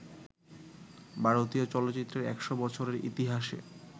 ভারতীয় চলচ্চিত্রের ১০০ বছরের ইতিহাসে